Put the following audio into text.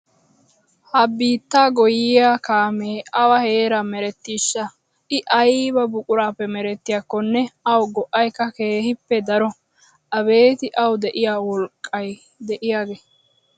Ha biittaa goyyiya kaamee awa heeran merettiishsha I ayba buqurappe merettiyakkonne awu go'aykka keehippe daro. Abeetii awu de'iya wolqqa de'iyagee!